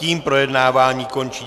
Tím projednávání končí.